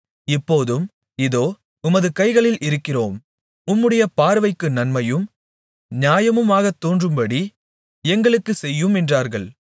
இப்போதும் இதோ உமது கைகளில் இருக்கிறோம் உம்முடைய பார்வைக்கு நன்மையும் நியாயமுமாகத் தோன்றுகிறபடி எங்களுக்குச் செய்யும் என்றார்கள்